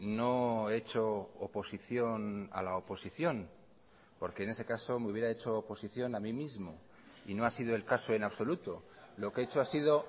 no he hecho oposición a la oposición porque en ese caso me hubiera hecho oposición a mí mismo y no ha sido el caso en absoluto lo que he hecho ha sido